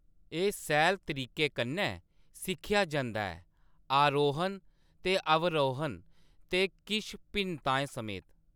एह्‌‌ सैह्‌ल तरीके कन्नै सिक्खेआ जंदा ऐ -आरोहण ते अवरोहण ते किश भिन्नताएं समेत।